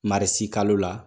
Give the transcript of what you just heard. Marisikalo la